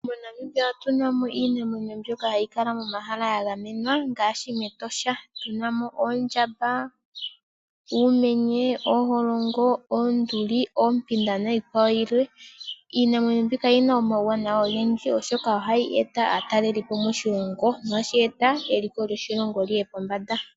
MoNamibia otuna mo iinamwemyo mbyoka hayi kala yili momahala gagamenwa ngaashi mEtosha moka tuna mo oondjamba ,uumenye ,ooholongo ,oonduli oompinda niikwawo yilwe mEtosha omuna iinamwenyo oyindji oshoka ohayi eta aatalelipo moshilongo shono hashi eta eliko lyoshilongo lyiye pombanda.